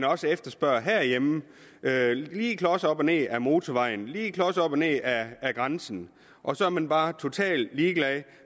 også efterspørges herhjemme lige klos op og ned ad motorvejen lige klos op og ned ad grænsen og så er man bare totalt ligeglad